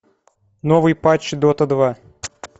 новый патч дота два